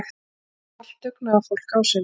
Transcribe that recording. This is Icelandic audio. Allt dugnaðarfólk á sinn hátt.